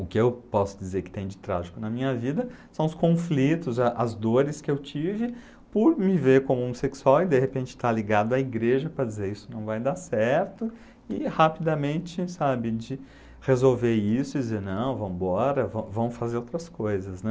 O que eu posso dizer que tem de trágico na minha vida são os conflitos, a as dores que eu tive por me ver como homossexual e de repente estar ligado à igreja para dizer isso não vai dar certo e rapidamente, sabe, de resolver isso e dizer não, vam vamos embora, vamos fazer outras coisas, né?